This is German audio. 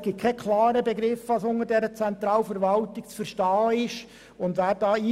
Es ist jedoch nicht klar definiert, was alles zur Zentralverwaltung gehört.